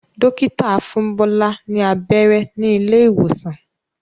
Dókítà fún Bola ní abẹ́rẹ́ ní ilé ìwòsàn.